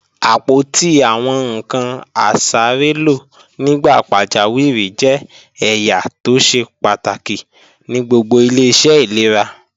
Àpótí àwọn ǹkan asárélò nígbà pàjáwìrì jẹ́ ẹ̀yà tó ṣe pàtàkì ní gbogbo ilé-iṣẹ́ ìlera